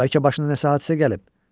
Bəlkə başına nəsə hadisə gəlib?